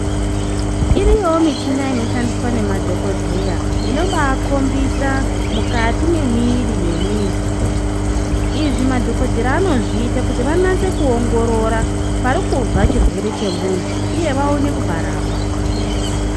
Iriyoyo michina inoshandiswa nemadhokodheya inobakombisa mukati memiiri memuntu, izvi madhokodheya anozviita anatse kuongorora parikubva chirwere chemuntu uye wanase kuparapa.